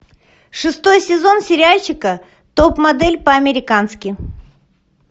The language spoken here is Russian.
шестой сезон сериальчика топ модель по американски